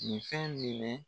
Nin fɛn minɛ